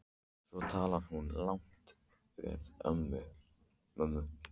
Svo talaði hún lágt við mömmu.